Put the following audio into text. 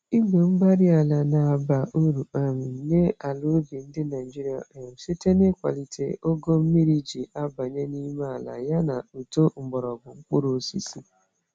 igwe-mgbárí-ala na-aba uru um nyé ala ubi ndị Nigeria um site n'ịkwalite ogo mmírí jị abanye n'ime àlà, ya na uto mgbọrọgwụ mkpụrụ osisi.